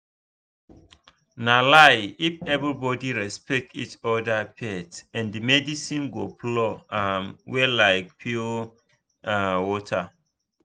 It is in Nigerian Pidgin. no lie if everybody respect each other faith and medicine go flow um well like pure um water.